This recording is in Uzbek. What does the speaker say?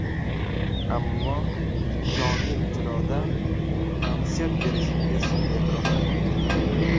Ammo, jonli ijroda konsert berishingiz e’tirofga loyiq.